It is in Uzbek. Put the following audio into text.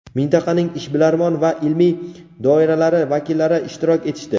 mintaqaning ishbilarmon va ilmiy doiralari vakillari ishtirok etishdi.